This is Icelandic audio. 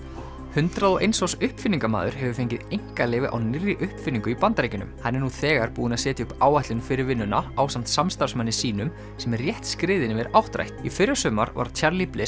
hundrað og eins árs uppfinningamaður hefur fengið einkaleyfi á nýrri uppfinningu í Bandaríkjunum hann er nú þegar búinn að setja upp áætlun fyrir vinnuna ásamt samstarfsmanni sínum sem er rétt skriðinn yfir áttrætt í fyrrasumar varð Charlie